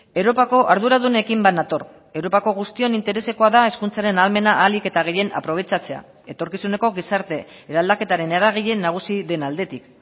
europako arduradunekin bat nator europako guztion interesekoa da hezkuntzaren ahalmena ahalik eta gehien aprobetxatzea etorkizuneko gizarte eraldaketaren eragile nagusi den aldetik